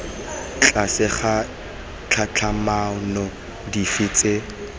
tlase ga ditlhatlhamano dife tse